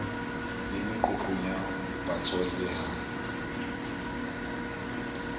le meqoqong ya botswalle ha